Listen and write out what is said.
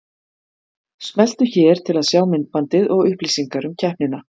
Smelltu hér til að sjá myndbandið og upplýsingar um keppnina